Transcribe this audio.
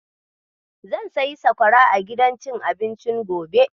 Zan sayi sakwara a gidan cin abincin gobe.